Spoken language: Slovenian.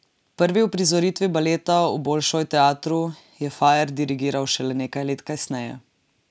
Prvi uprizoritvi baleta v Bolšoj teatru je Fajer dirigiral šele nekaj let kasneje.